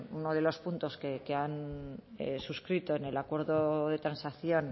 uno de los puntos que han suscrito en el acuerdo de transacción